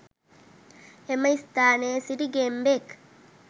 එම ස්ථානයේ සිටි ගෙම්බෙක්